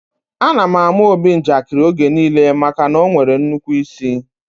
A na àmà Obi njakiri oge niile maka na ọ nwere nnukwu ịsị